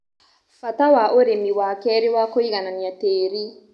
Bata wa ũrĩmi wa kerĩ wa kũiganania tĩri